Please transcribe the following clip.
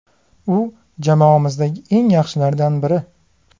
U jamoamizdagi eng yaxshilardan biri.